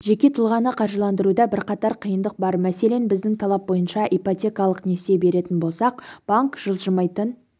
жеке тұлғаны қаржыландыруда бірқатар қиындық бар мәселен біздің талап бойынша ипотекалық несие беретін болсақ банк жылжымайтын